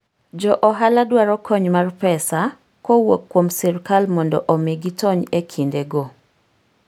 Jo ohala dwaro kony mar pesa kowuok kuom sirkal mondo omi gitony e kindego.